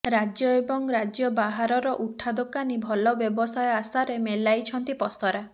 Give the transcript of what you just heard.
ରାଜ୍ୟ ଏବଂ ରାଜ୍ୟ ବାହାରର ଉଠା ଦୋକାନୀ ଭଲ ବ୍ୟବସାୟ ଆଶାରେ ମେଳାଇଛନ୍ତି ପସରା